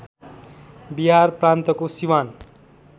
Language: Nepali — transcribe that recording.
बिहार प्रान्तको सिवान